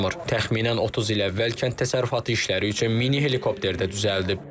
Təxminən 30 il əvvəl kənd təsərrüfatı işləri üçün mini helikopter də düzəldib.